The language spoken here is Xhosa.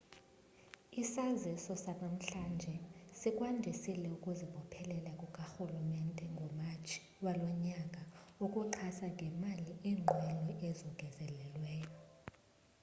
isaziso sanamhlanje sikwandisile ukuzibophelela kukarhulumente ngomatshi walo nyaka ukuxhasa ngemali iinqwelo ezongezelelweyo